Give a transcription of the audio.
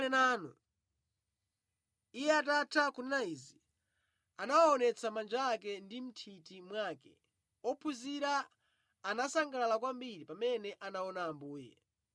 Iye atatha kunena izi, anawaonetsa manja ake ndi mʼnthiti mwake. Ophunzira anasangalala kwambiri pamene anaona Ambuye.